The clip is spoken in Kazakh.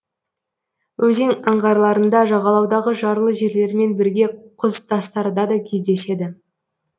өзен аңғарларында жағалаудағы жарлы жерлермен бірге құз тастарда да кездеседі